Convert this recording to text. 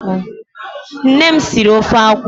Nne m siri ofe akwụ.